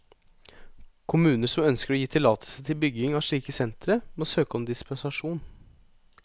Kommuner som ønsker å gi tillatelse til bygging av slike sentre, må søke om dispensasjon.